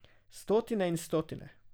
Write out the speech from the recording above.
Stotine in stotine.